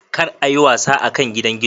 kar a yi wasa akan gidan gizo.